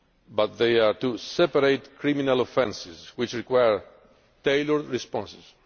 common, but they are two separate criminal offences which required tailored responses.